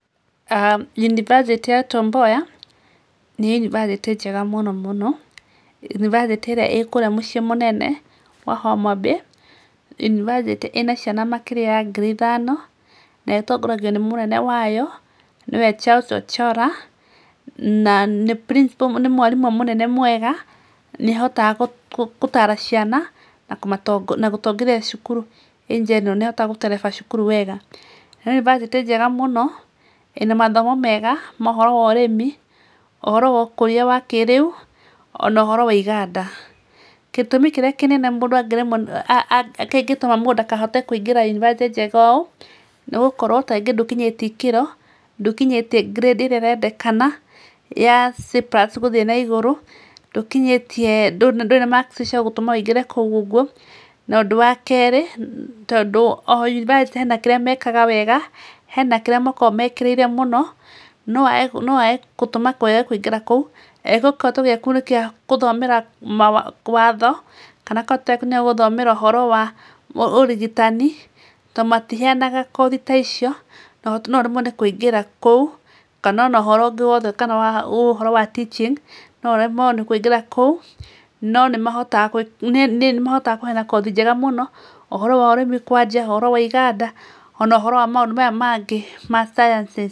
Yunibasĩtĩ ya Tom Mboya nĩ yunibasĩtĩ njega mũno mũno, yunibasĩtĩ irĩa ĩkũrĩa mũciĩ mũnene wa Homa Bay, yunibasitĩ ĩna ciana makĩria ma ngiri ithano na ĩtongoragio nĩ mũnene wayo nĩwe Charles Ocholla ,na nĩ mwarimũ mũnene mwega nĩahotaga gũtara ciana na gũtongoria cukuru wega, nĩ yunibasĩtĩ njega mũno ĩna mathomo mega ma ũhoro wa ũrĩmi ,ũhorro wa ũkũria wa kĩrĩũ ona wa ũhoro wa iganda, gĩtũmi kĩrĩa kĩnene mũndũ angĩremwa ngĩngĩtũma mũndũ ndakaingĩre yunibasĩtĩ njega ũ ,nĩgũkorwo kaingĩ ndũkinyĩtio ikĩro ,ndũkinyĩtio ngirĩfdi ĩrĩa ĩrendekana ya c plus gũthiĩ na igũrũ, ndũrĩ na maksi ya gũtũma ũingĩre kũu ũguo na ũndu wa kerĩ oyunibasĩtĩ hena kĩria wekaga wega ,hena kĩrĩa makoragwa ũikĩrĩre mũno noyage gĩtumi ya kũingĩra kũu kĩrĩa wĩkaga watho na gũthomera ũhoro wa ũrigitani tondũ matiheanaga kothi ta icio noũremwe kũingĩra kũu kana ona ũhoro wa teaching noũremwo nĩ kũingĩra kũu nĩmahotaga kũheana kothi njega muno, ũhoro wa ũrĩmi kwanja, ũhoro wa iganda ona mohoro aya mangĩ ma sciences.